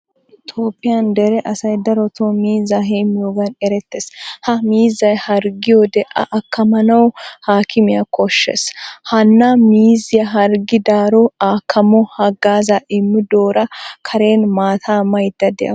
Toophphiyaa dere asay darotto miizza heemiyogan eretees. Ha miizzay harggiyode a akkamanawu a haakimiyaa koshshees. Hanna miizziyaa harggidaro akkamo haggazza immidora karen maataa maydda deawusu.